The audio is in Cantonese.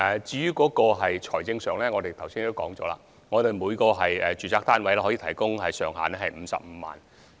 至於財政方面，正如我剛才說，每個住宅單位的資助上限為55萬元。